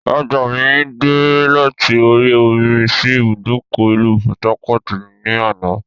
Ọjà mi dè láti orí omi sì ibùdókọ̀ ìlú "Port-harcourt" ni àná.